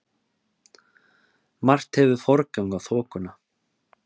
Margt hefur forgang á þokuna.